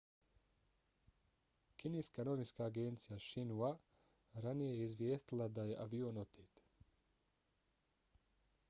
kineska novinska agencija xinhua ranije je izvijestila da je avion otet